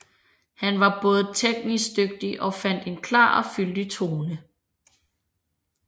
Han var både teknisk dygtig og fandt en klar og fyldig tone